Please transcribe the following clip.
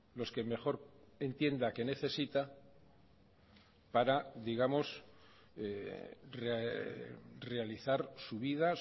los que mejor entienda que necesita para digamos realizar su vida